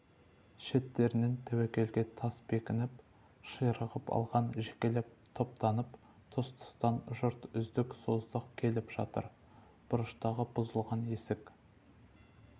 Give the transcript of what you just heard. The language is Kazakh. шеттерінен тәуекелге тас бекініп ширығып алған жекелеп топтанып тұс-тұстан жұрт үздік-создық келіп жатыр бұрыштағы бұзылған ескі